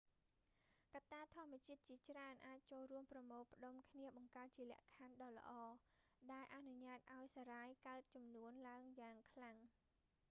កត្តាធម្មជាតិជាច្រើនអាចចូលរួមប្រមូលផ្តុំគ្នាបង្កើតជាលក្ខខណ្ឌដ៏ល្អ ដែលអនុញ្ញាតឱ្យសារ៉ាយកើនចំនួនឡើងយ៉ាងខ្លាំង